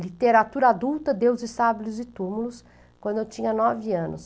literatura adulta, deuses, sábios e túmulos, quando eu tinha nove anos.